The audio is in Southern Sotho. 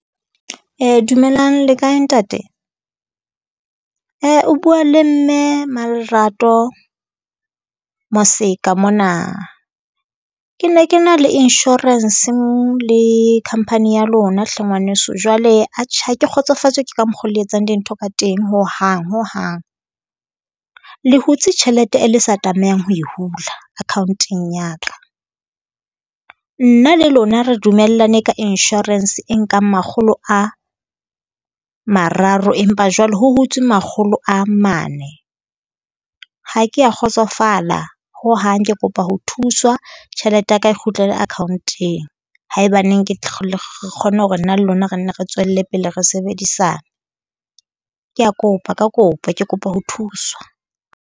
Dumelang le kae ntate? O bua le mme Malerato Moseka mona. Ke ne ke na le insurance le company ya lona hle ngwaneso. Jwale atjhe ha ke kgotsofatswe ke ka mokgwa oo le etsang dintho ka teng hohang, hohang. Le hutse tjhelete e le sa tlamehang ho e hula account-eng ya ka. Nna le lona re dumellane ka insurance e nkang makgolo a mararo, empa jwale ho hutswe makgolo a mane. Ha ke a kgotsofala hohang, ke kopa ho thuswa tjhelete ya ka e kgutlele account-eng, haebaneng ke re kgone hore nna le lona re nne re tswelle pele re sebedisane. Kea kopa ka kopo Ke kopa ho thuswa.